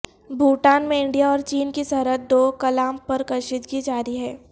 بھوٹان میں انڈیا اور چین کی سرحد ڈوکلام پر کشیدگی جاری ہے